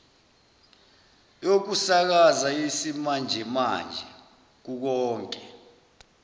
yokusakaza yesimanjemanje kukonke